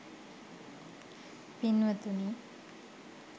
පින්වතුනි,